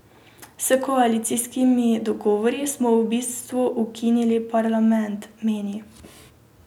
S koalicijskimi dogovori smo v bistvu ukinili parlament, meni.